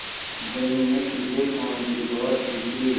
धनी ने सीधे काम की बात पूछी